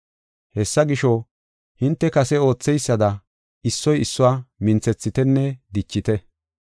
Hessa gisho, hinte kase ootheysada, issoy issuwa minthethitenne dichite.